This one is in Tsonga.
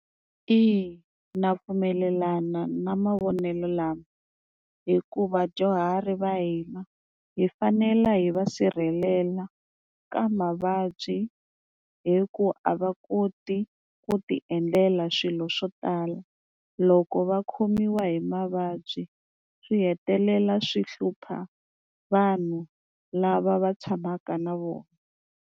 Eya na pfumelelana na mavonelo lama hikuva vadyuhari va hina hi fanela hi va sirhelela ka mavabyi hi ku a va koti ku ti endlela swilo swo tala loko va khomiwa hi mavabyi swi hetelela swi hlupha vanhu lava va tshamaka na vona.